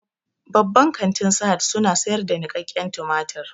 Babban kantin sahad su na sayar da niƙaken tumatir